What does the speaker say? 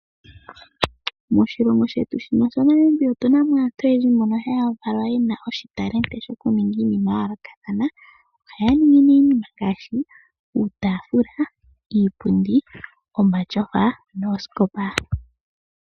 Moshilongo shetu shino sha Namibia otuna mo aantu oyendji mbono haa valwa yena oshitalenti shokuninga iinima ya yoolokathana. Ohaya ningi nee iinima ngaashi uutaafula, iipundi, omatyofa noosikopa.